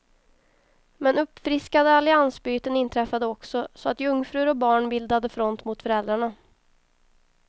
Men uppfriskande alliansbyten inträffade också, så att jungfrur och barn bildade front mot föräldrarna.